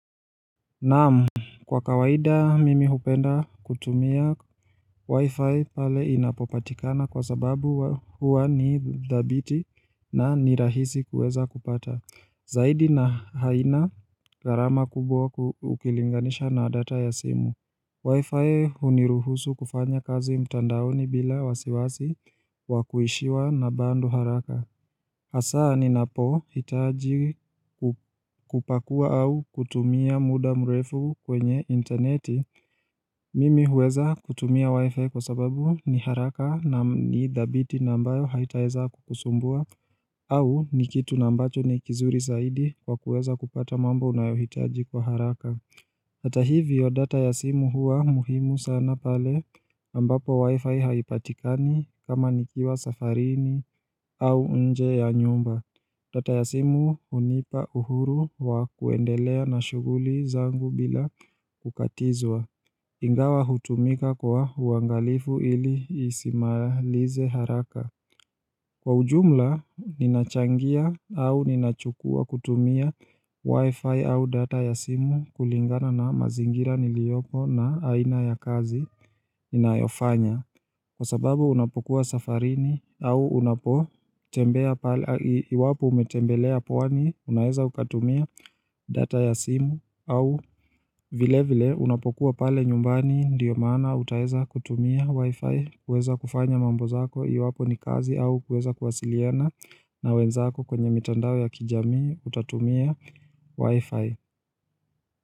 Naam, kwa kawaida mimi hupenda kutumia wi-fi pale inapopatikana kwa sababu huwa ni dhabiti na ni rahisi kuweza kupata. Zaidi na haina gharama kubwa ukilinganisha na data ya simu. Wi-fi huniruhusu kufanya kazi mtandaoni bila wasiwasi wakuishiwa na bando haraka. Hasa ninapohitaji kupakua au kutumia muda mrefu kwenye intaneti. Mimi huweza kutumia wifi kwa sababu ni haraka na ni dhabiti na ambayo haitaweza kukusumbua au ni kitu na ambacho nikizuri zaidi kwa kuweza kupata mambo unayohitaji kwa haraka. Hata hivyo data ya simu huwa muhimu sana pale ambapo wifi haipatikani kama nikiwa safarini au nje ya nyumba. Data ya simu hunipa uhuru wa kuendelea na shuguli zangu bila kukatizwa. Ingawa hutumika kwa uangalifu ili isimalize haraka. Kwa ujumla, ninachangia au ninachukua kutumia wifi au data ya simu kulingana na mazingira niliyopo na aina ya kazi ninayofanya. Kwa sababu unapokuwa safarini au unapotembea pale, iwapo umetembelea pwani unaeza ukatumia data ya simu au vile vile unapokuwa pale nyumbani ndiyo maana utaweza kutumia wifi, kuweza kufanya mambo zako iwapo ni kazi au kuweza kuwasiliana na wenzako kwenye mitandao ya kijami utatumia wifi.